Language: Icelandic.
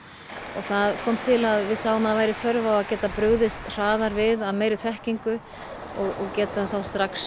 það kom til að við sáum að væri þörf á að geta brugðist hraðar við af meiri þekkingu og geta þá strax